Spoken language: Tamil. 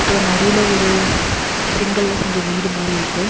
அப்றோ நடுவுல ஒரு செங்கல்ல செஞ்ச வீடு மாரி இருக்கு.